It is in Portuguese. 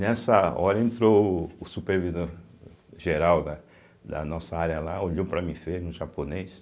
Nessa hora entrou o Supervisor-Geral da da nossa área lá, olhou para mim japonês.